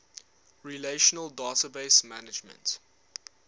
relational database management